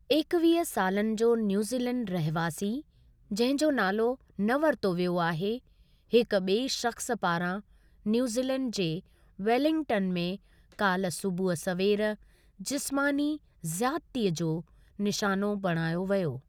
एकवीह सालनि जो न्यूज़ीलैंड रहवासी, जंहिं जो नालो न वरितो वियो आहे, हिक ॿिए शख़्सु पारां न्यूज़ीलैंड जे वेलिंगटन में काल्ह सुबूह सवेर, जिस्मानी ज़ियादतीअ जो निशानो बणायो वियो।